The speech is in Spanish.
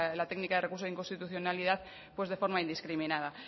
la técnica de recurso inconstitucionalidad pues de forma indiscriminada